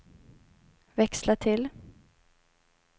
växla till